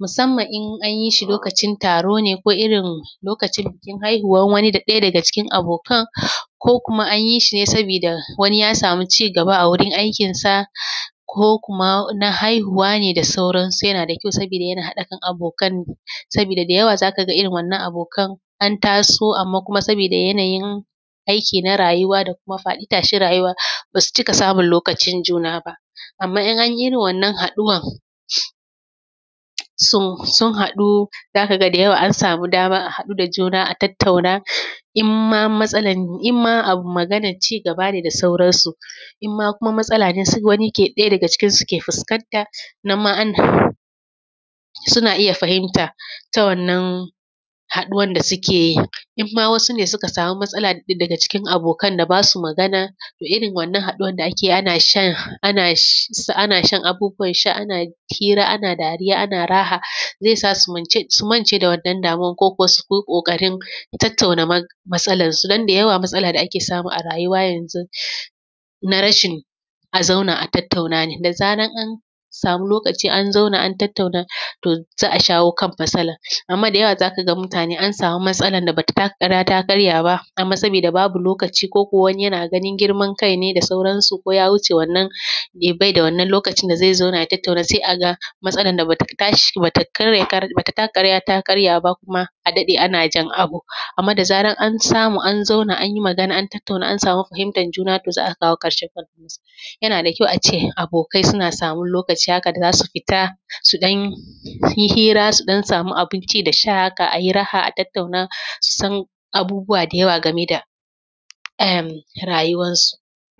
Musamman in an yi shi lokacin taro ne ko irin lokacin bikin haihuwan wani da ɗaya daga cikin abokan, ko kuma an yi shi ne sabida wani ya samu cigaba a wurin aikinsa ko kuma na haihuwa ne, da sauransu. Yana da kyau, sabida yana haɗa kan abokan, sabida da yawa za ka ga irin wannan abokan an taso amma kuma sabiida yanayin aiki na rayuwa da kuma faɗi tashin rayuwa, ba su cika samun lokacin juna ba. Amma, in an yi irin wannan haɗuwan “so” sun haɗu, za ka ga da yawa an samu dama an haɗu da juna a tattauna. In ma matsalan, in ma abu maganac cigaba ne da sauransu, in ma kuma matsala ne, se wani ke; ɗaya daga cikin su ke fiskanta, nan ma an, sina iya fahinta ta wannan haɗuwan da sike yi. In ma wasu ne suka samu matsala daga cikin abokan da ba su magana, da irin wannan haɗuwan da ake ana shan, an ash; s; ana shan abubuwan sha ana hira ana dariya ana raha, ze sa su mance, su mance da wannan damuwan ko kuwa su ko ƙoƙarin tattauna mats; matsalansu. Don da yawa, matsala da ake samu a rayuwa yanzun, na rashin a zauna a tattauna ne. Da zaran an samu lokaci an zauna, an tattauna, to, za a shawo kan matsalan, amma da yawa za ka ga mutane an samu matsalan da ba ta taka kara ta karya ba, amma sabida babu lokaci koko wani yana ganin girman kai ne da sauransu, ko ya wuce wannan, bai da wannan lokacin da ze zauna ya tattauna, se a ga matsalan da ba ta tashi; ba ta karya kar; ba ta taka kara ta karya ba, kuma a daɗe ana jin abu. Amma da zaran an samu an zauna an yi magana an tattauna, an samu fahimtan juna, to, za a kawo ƙarshen matsalan. Yana da kyau a ce, abokai suna samu lokaci haka da za su fita su ɗan yi hira su ɗan samu abin ci da sha haka, a yi raha, a tattauna, a san abubuwa da yawa game da em, rayuwansu.